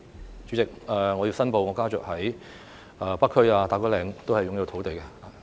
代理主席，我申報我家族在北區及打鼓嶺均擁有土地。